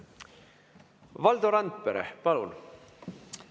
Valdo Randpere, palun!